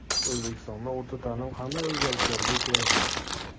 O‘zbekistonda o‘rta ta’lim qanday o‘zgarishlarga uchraydi?.